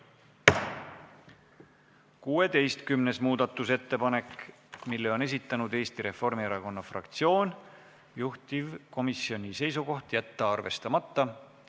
16. muudastusettepanek, mille on esitanud Eesti Reformierakonna fraktsioon, juhtivkomisjoni seisukoht: jätta arvestamata.